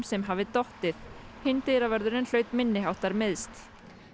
sem hafi dottið hinn dyravörðurinn hlaut minni háttar meiðsl